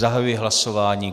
Zahajuji hlasování.